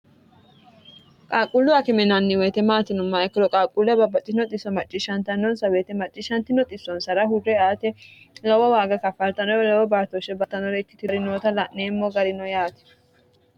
qaaqquullu akime yinanni woyite maati yinummoha ikkiro qaaqqulle babbaxxino xisso macciishshantannonsa woyite macciishshanti noxissonsara hurre ate lowo waaga kafartano lowo baatoshshe battanore ikkitirarinoota la'neemmo garino yaati